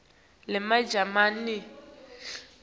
lemajalimane